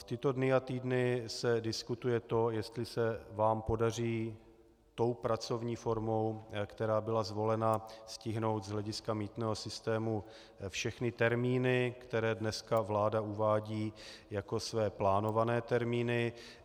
V tyto dny a týdny se diskutuje to, jestli se vám podaří tou pracovní formou, která byla zvolena, stihnout z hlediska mýtného systému všechny termíny, které dneska vláda uvádí jako své plánované termíny.